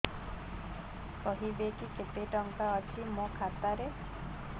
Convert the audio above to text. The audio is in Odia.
କହିବେକି କେତେ ଟଙ୍କା ଅଛି ମୋ ଖାତା ରେ